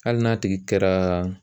Hali n'a tigi kɛra